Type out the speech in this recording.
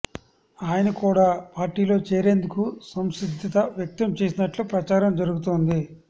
ఆయన కూడా పార్టీలో చేరేందుకు సంసిద్ధత వ్యక్తం చేసినట్లు ప్రచారం జరుగుతోంది